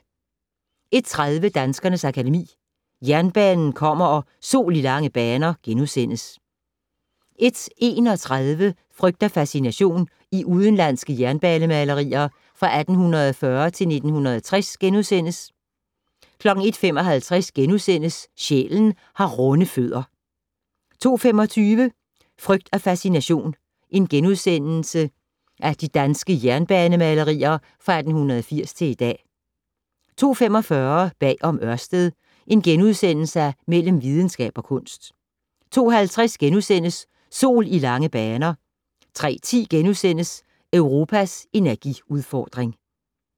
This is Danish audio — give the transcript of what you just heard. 01:30: Danskernes Akademi: Jernbanen kommer & Sol i lange baner * 01:31: Frygt og fascination - i udenlandske jernbanemalerier fra 1840 til 1960 * 01:55: Sjælen har runde fødder * 02:25: Frygt og fascination - i danske jernbanemalerier fra 1880 til i dag * 02:45: Bag om Ørsted - Mellem videnskab og kunst * 02:50: Sol i lange baner * 03:10: Europas energiudfordring *